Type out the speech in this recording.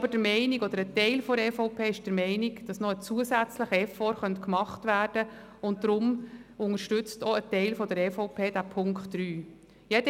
Ein Teil der Fraktion EVP ist aber der Meinung, dass noch ein zusätzlicher Effort gemacht werden könnte, und deshalb unterstützt auch ein Teil der EVP-Fraktion diesen Punkt 3.